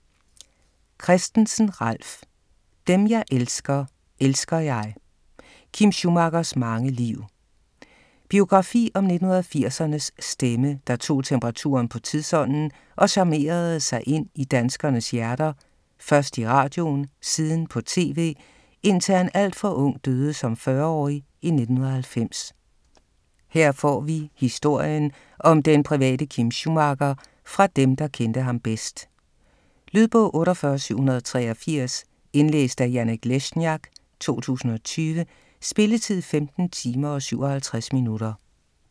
Christensen, Ralf: Dem jeg elsker, elsker jeg: Kim Schumachers mange liv Biografi om 1980'ernes stemme, der tog temperaturen på tidsånden og charmerede sig ind i danskernes hjerter, først i radioen, siden på TV, indtil han alt for ung, døde som 40-årig i 1990. Her får vi historien om den private Kim Schumacher fra dem, der kendte ham bedst. Lydbog 48783 Indlæst af Janek Lesniak, 2020. Spilletid: 15 timer, 57 minutter.